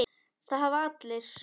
Það hafa allir